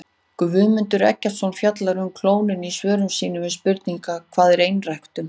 Guðmundur Eggertsson fjallar um klónun í svörum sínum við spurningunum Hvað er einræktun?